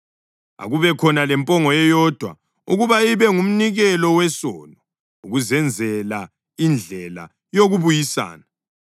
Akubekhona lempongo eyodwa ukuba ibe ngumnikelo wesono ukuzenzela indlela yokubuyisana.